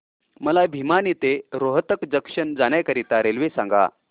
मला भिवानी ते रोहतक जंक्शन जाण्या करीता रेल्वे सांगा